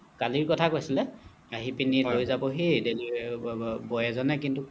কালিৰ কথা কৈছিলে আহি পিনি লৈ যাব delivery boy এজনে কিন্তু